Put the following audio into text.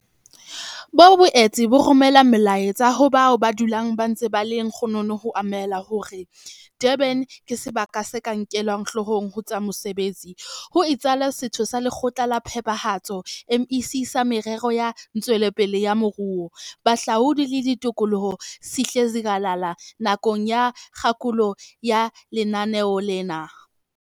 Bo boetse bo romela molaetsa ho bao ba dulang ba ntse ba le lekgonono ho amohela hore Durban ke sebaka se ka nkelwang hloohong ho tsa botsetedi," ho itsalo Setho sa Lekgotla la Phethahatso, MEC, sa Merero ya Ntshetsopele ya Moruo, Bohahlaudi le Tikoloho, Sihle Zikalala nakong ya kgakolo ya lenaneo lena.